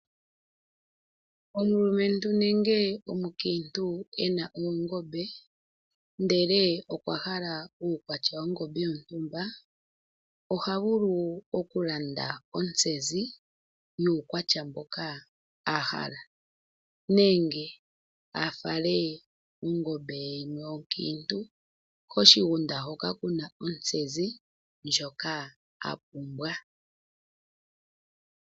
Omulumentu nenge omukiintu e na oongombe, ndele okwa hala uukwatya wongombe yontumba oha vulu okulanda ontsezi yuukwatya mboka a hala nenge a fale ongombe ye yimwe onkiintu koshigunda hoka ku na ontsezi ndjoka a pumbwa.